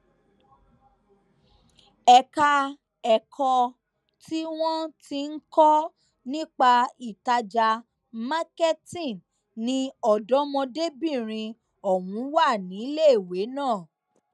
ẹka ẹkọ tí wọn ti ń kọ nípa ìtajà marketing ni ọdọmọdébìnrin ọhún wà níléèwé náà